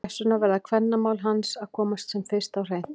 Þess vegna verða kvennamál hans að komast sem fyrst á hreint!